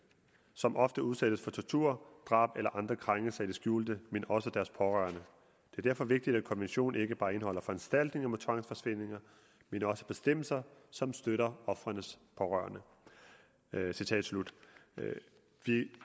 som ofte udsættes for tortur drab eller andre krænkelser i det skjulte men også deres pårørende det er derfor vigtigt at konventionen ikke bare indeholder foranstaltninger mod tvangsforsvindinger men også bestemmelser som støtter ofrenes pårørende citat slut vi